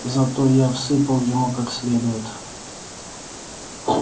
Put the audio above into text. зато я всыпал ему как следует